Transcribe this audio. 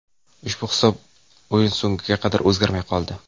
Ushbu hisob o‘yin so‘ngiga qadar o‘zgarmay qoldi.